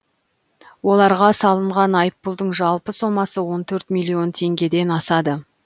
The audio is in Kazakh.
оларға салынған айыппұлдың жалпы сомасы он төрт миллион теңгеден асады